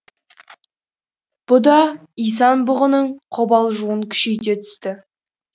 бұ да исан бұғының қобалжуын күшейте түсті